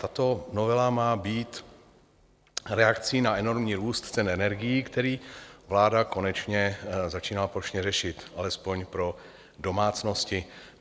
Tato novela má být reakci na enormní růst cen energií, který vláda konečně začíná plošně řešit, alespoň pro domácnosti.